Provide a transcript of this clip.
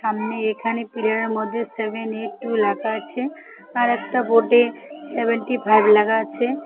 সামনে এখানে পিলারের মধ্যে সেভেন এইট টু ল্যাখা আছে আর একটা বোর্ডে সেভেন্টিফাইভ ল্যাখা আছে।